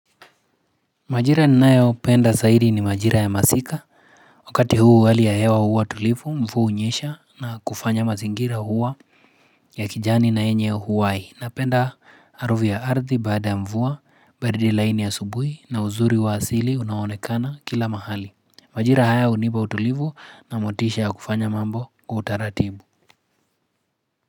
Majira ninayopenda zaidi ni majira ya masika Wakati huu hali ya hewa huwa tulivu mvua hunyesha na kufanya mazingira kuwa ya kijani na yenye uhai. Napenda harufu ya ardhi baada ya mvua, baridi laini ya asubuhi, na uzuri wa asili unaoonekana kila mahali. Majira haya hunipa utulivu na motisha ya kufanya mambo kwa utaratibu.